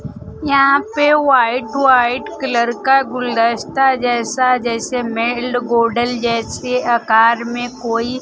यहां पे white white colour का गुलदस्ता जैसा जैसे मेल्ड गोडल जैसे आकार में कोई--